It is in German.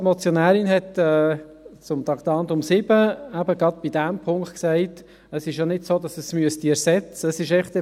Die Motionärin hat zum Traktandum 7 zu diesem Punkt gesagt, es sei nicht so, dass es ersetzend sein müsste.